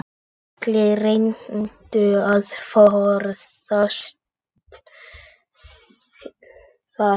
Allir reyndu að forðast það.